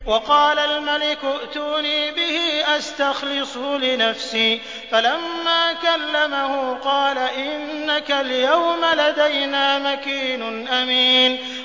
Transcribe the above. وَقَالَ الْمَلِكُ ائْتُونِي بِهِ أَسْتَخْلِصْهُ لِنَفْسِي ۖ فَلَمَّا كَلَّمَهُ قَالَ إِنَّكَ الْيَوْمَ لَدَيْنَا مَكِينٌ أَمِينٌ